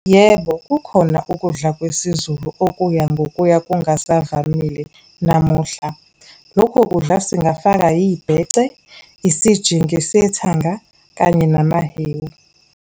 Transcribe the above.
Yebo, kukhona ukudla kwesizulu okuya ngokuya kungasavamile namuhla. Lokho kudla singafaka, yibheke, isijingi sethanga kanye namahewu.